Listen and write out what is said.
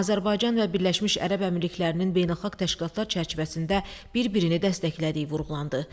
Azərbaycan və Birləşmiş Ərəb Əmirliklərinin beynəlxalq təşkilatlar çərçivəsində bir-birini dəstəklədiyi vurğulandı.